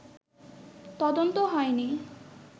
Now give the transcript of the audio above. তদন্ত হয়নি